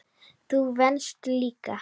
Þú venst líka.